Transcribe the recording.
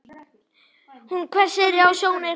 Hún hvessir sjónir á hann.